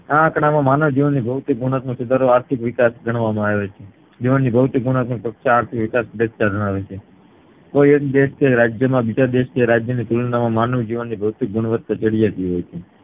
આ આંકડા માં માનવજીવનની ભૌતિક ગુણવત્તા સુધારો આર્થિક વિકાશ ગણવકામાં આવે છે જીવનની ભૌતિક ગુણવત્તા ચર્ચા આર્થિક વિકાશ દર્શાવે છે કોઈ એક દેશ કે રાજ્ય ના બીજા દેશ કે રાજ્ય ની તુલના કરતા માનવજીવનની ભૌતિક ગુણવત્તા ચડિયાતી હોય છે